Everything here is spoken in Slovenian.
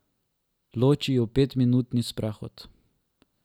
Loči ju petminutni sprehod.